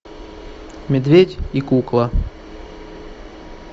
медведь и кукла